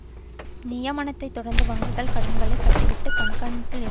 நியமனத்தைத் தொடர்ந்து வங்கிகள் கடன்களைக் கட்டிவிட்டு கண்காணிப்பில் இருந்து